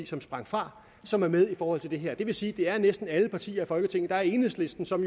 som sprang fra som er med i forhold til det her det vil sige det er næsten alle partier i folketinget der er enhedslisten som